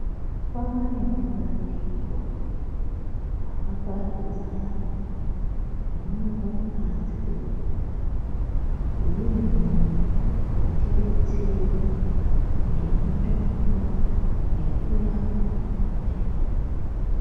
Kwane mabandikonakaparadzana anobva kubanze kwenyika anouya kotidetsera ngemitombo nekurapa matenda.